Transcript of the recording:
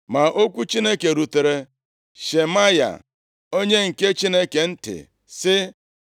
Ma okwu Chineke rutere Shemaya onye nke Chineke ntị, sị,